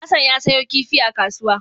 Hassan ya sayo kifi a kasuwa.